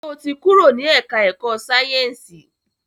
Sọ ti kúrò ní ẹ̀ká ẹ̀kọ́ Sáyẹ̀nsì?